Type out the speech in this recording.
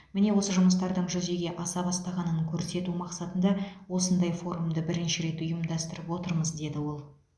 міне осы жұмыстардың жүзеге аса бастағанын көрсету мақсатында осындай форумды бірінші рет ұйымдастырып отырмыз деді ол